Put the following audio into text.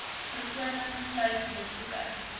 voorkoming sluit besoeke